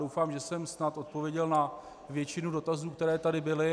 Doufám, že jsem snad odpověděl na většinu dotazů, které tady byly.